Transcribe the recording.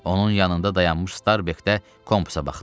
Onun yanında dayanmış Starbek də kompusa baxdı.